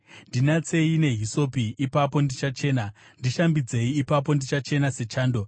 Ndinatsei nehisopi, ipapo ndichachena; ndishambidzei, ipapo ndichachena sechando.